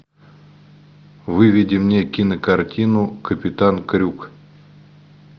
выведи мне кинокартину капитан крюк